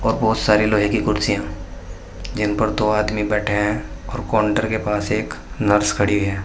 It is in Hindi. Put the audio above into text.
और बहुत सारी लोहे की कुर्सियां जिन पर दो आदमी बैठे हैं और काउंटर के पास एक नर्स खड़ी है।